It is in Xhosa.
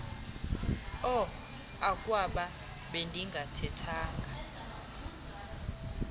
uh akwaba bendingathethanga